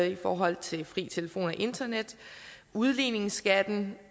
i forhold til fri telefon og internet udligningsskatten